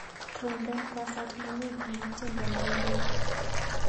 Trompen kwosat nenyu nebo tyendo neindoi.